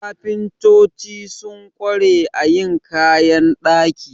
Kafintoci sun ƙware a yin kayan ɗaki.